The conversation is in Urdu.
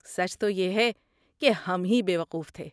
سچ تو یہ ہے، کہ ہم ہی بیوقوف تھے۔